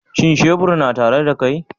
Shin shebur yana tare da kai?